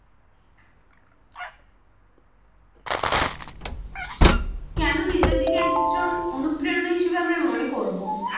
কেনো নেতাজিকে একজন অনুপ্রেরনা হিসেবে আমরা মনে করবো